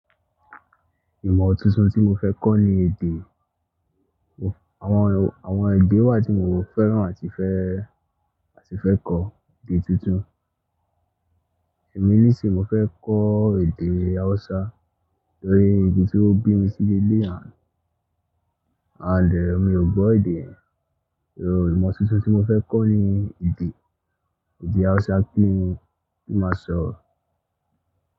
Ìmọ̀ tuntun tí mo fẹ́ kọ́ ni èdè. Àwọn, àwọn èdè wà tí mo fẹ́ràn àti fẹ́, àti fẹ́ kọ́ èdè tuntun. Èmi ní sì mo fẹ́ kọ́ èdè Hausa nítorí ibi tí ó bí mi ti lé lè àń, ànd e mi ò gbọ́ èdè ẹ̀. Ìmọ̀ tuntun tí mo fẹ́ kọ́ ni èdè, èdè Hausa kí n, kí ma sọ.